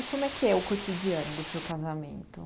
E como é que é o cotidiano do seu casamento?